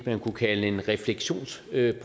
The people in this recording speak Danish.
man kunne kalde en refleksionsproces